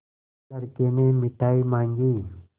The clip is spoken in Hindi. लड़के ने मिठाई मॉँगी